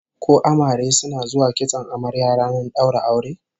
Ko amare suna zuwa kitson amarya ranar daura aure?